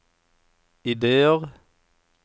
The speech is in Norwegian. ideer